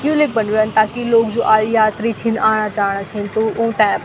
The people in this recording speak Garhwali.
यू लेख बन्यु रंद ताकि लोग जो आयी यात्री छिन आणा जाणा छिन तो ऊँते।